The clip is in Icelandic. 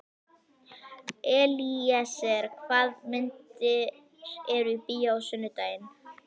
Elíeser, hvaða myndir eru í bíó á sunnudaginn?